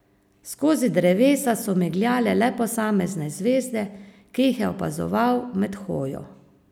Skozi drevesa so migljale le posamezne zvezde, ki jih je opazoval med hojo.